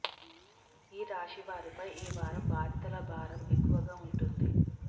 ఈ రాశి వారిపై ఈ వారం బాధ్యతల భారం ఎక్కువగా ఉంటుంది